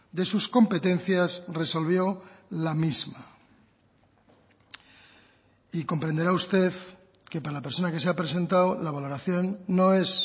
de sus competencias resolvió la misma y comprenderá usted que para la persona que se ha presentado la valoración no es